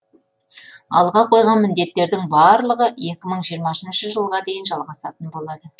алға қойған міндеттердің барлығы екі мың жиырмасыншы жылға дейін жалғасатын болады